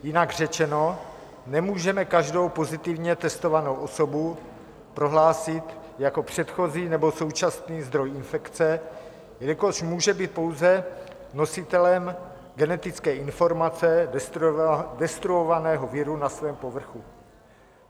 Jinak řečeno, nemůžeme každou pozitivně testovanou osobu prohlásit jako předchozí nebo současný zdroj infekce, jelikož může být pouze nositelem genetické informace destruovaného viru na svém povrchu.